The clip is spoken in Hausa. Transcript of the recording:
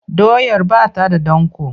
Doyar ba ta da danƙo.